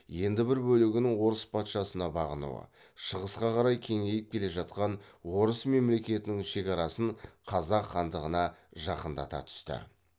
енді бір бөлігінің орыс патшасына бағынуы шығысқа қарай кеңейіп келе жатқан орыс мемлекетінің шекарасын қазақ хандығына жақындата түсті